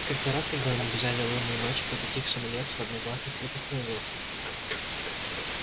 как-то раз когда они бежали лунной ночью по затихшему лесу одноглазый вдруг остановился